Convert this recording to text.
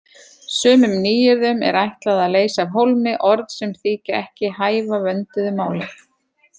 Sumum nýyrðum er ætlað að leysa af hólmi orð sem þykja ekki hæfa vönduðu máli.